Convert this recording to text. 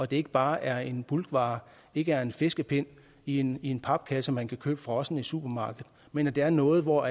det ikke bare er en bulkvare ikke er en fiskepind i en en papkasse man kan købe frossen i supermarkedet men at det er noget hvor